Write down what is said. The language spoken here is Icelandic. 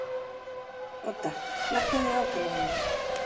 Odda, lækkaðu í hátalaranum.